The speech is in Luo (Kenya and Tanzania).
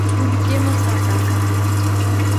Rud chiemo saa ka saa